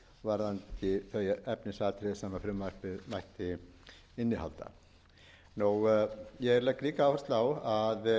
varðandi þau efnisatriði sem frumvarpið mætti innihalda ég legg líka áherslu á að